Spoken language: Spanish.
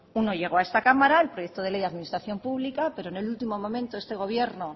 uno llegó a esta cámara el proyecto de ley de la administración pública pero en el último momento este gobierno